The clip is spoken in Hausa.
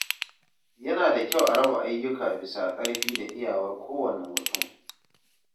Yana da kyau a raba ayyuka bisa karfi da iyawar kowane mutum.